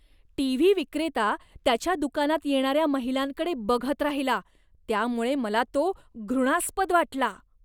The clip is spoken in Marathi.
टी. व्ही. विक्रेता त्याच्या दुकानात येणाऱ्या महिलांकडे बघत राहिला, त्यामुळे मला तो घृणास्पद वाटला.